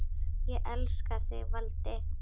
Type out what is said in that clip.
Ég elska þig, Valdi.